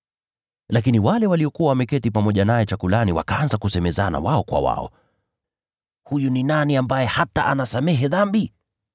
Lakini wale waliokuwa wameketi pamoja naye chakulani wakaanza kusemezana wao kwa wao, “Huyu ni nani ambaye hata anasamehe dhambi?”